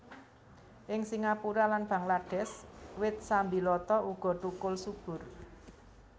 Ing Singapura lan Bangladesh wit sambiloto uga thukul subur